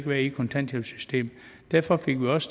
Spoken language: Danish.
være i kontanthjælpssystemet derfor fik vi også